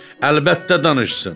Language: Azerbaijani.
əlbəttə danışsın.